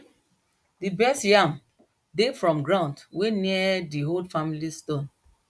di best yam dey from ground wey near di old family stone